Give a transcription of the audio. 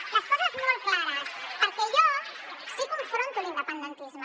) les coses molt clares perquè jo sí que confronto l’independentisme